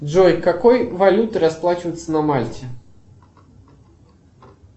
джой какой валютой расплачиваются на мальте